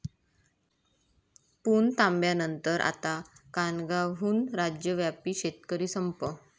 पुणतांब्यानंतर आता कानगावहून राज्यव्यापी शेतकरी संप